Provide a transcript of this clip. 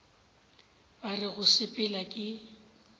ba re go sepela ke